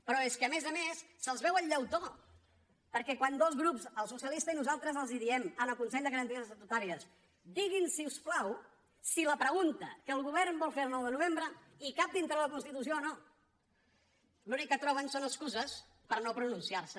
però és que a més a més se’ls veu el llautó perquè quan dos grups el socialista i nosaltres diem al consell de garanties estatutàries diguin si us plau si la pregunta que el govern vol fer el nou de novembre cap dintre de la constitució o no l’únic que troben són excuses per no pronunciarse